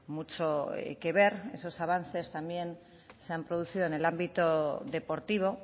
mucho que ver esos avances también se han producido en el ámbito deportivo